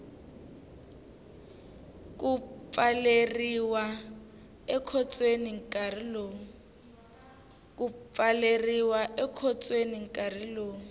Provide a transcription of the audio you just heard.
ku pfaleriwa ekhotsweni nkarhi lowu